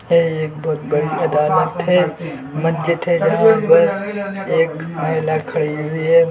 यह एक बहुत बड़ी अदालत है मस्जिद है जहा पर एक महिला खड़ी हुई है।